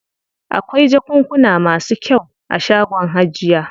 Akwai jakunkuna masu kyau a shagon hajiya.